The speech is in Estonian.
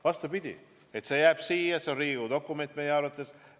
Vastupidi, see jääb siia, see on Riigikogu dokument meie arvates.